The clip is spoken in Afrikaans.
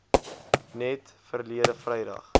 net verlede vrydag